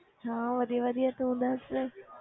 ਸਭ ਵਧੀਆ ਵਧੀਆ ਤੂੰ ਦੱਸ।